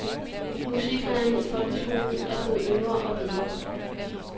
Musiklærerne i folkeskolen er blevet yngre og bedre.